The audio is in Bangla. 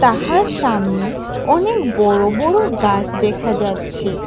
তাহার সামনে অনেক বড় বড় গাছ দেখা যাচ্ছে।